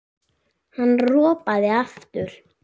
Hann ropaði aftur.